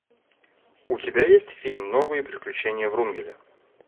у тебя есть фильм новые приключения врунгеля